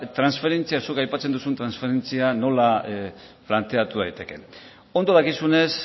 transferentzia zuk aipatzen duzun transferentzia nola planteatu daitekeen ondo dakizunez